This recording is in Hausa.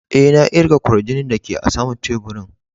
E,na kirga kwarjinin da ke a sama'n taburin.